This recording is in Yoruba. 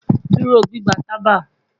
Duro gbigba taba